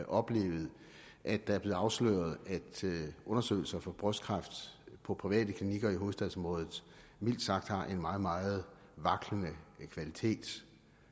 oplevet at det er blevet afsløret at undersøgelser for brystkræft på private klinikker i hovedstadsområdet mildt sagt har en meget meget vaklende kvalitet